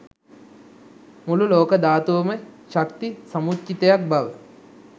මුළු ලෝක ධාතුවම ශක්ති සමුච්චිතයක් බව